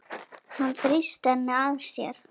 Hann þrýsti henni að sér.